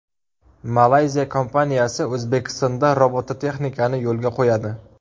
Malayziya kompaniyasi O‘zbekistonda robototexnikani yo‘lga qo‘yadi.